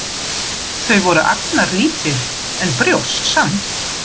Þau voru agnarlítil, en brjóst samt.